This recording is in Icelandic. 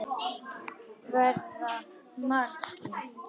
Verða margir?